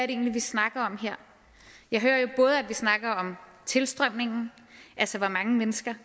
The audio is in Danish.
egentlig vi snakker om her jeg hører jo både at vi snakker om tilstrømningen altså hvor mange mennesker